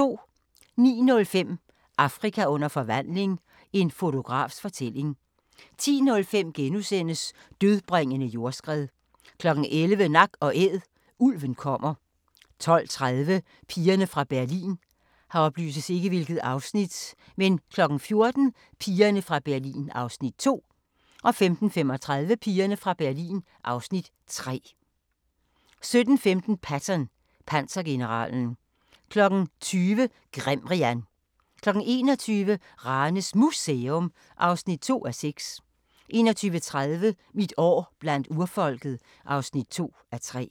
09:05: Afrika under forvandling – en fotografs fortælling 10:05: Dødbringende jordskred * 11:00: Nak & Æd: Ulven kommer 12:30: Pigerne fra Berlin 14:00: Pigerne fra Berlin (Afs. 2) 15:35: Pigerne fra Berlin (Afs. 3) 17:15: Patton – pansergeneralen 20:00: Grimrian 21:00: Ranes Museum (2:6) 21:30: Mit år blandt urfolket (2:3)